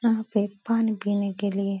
यहाँ पे पानी पीने के लिये --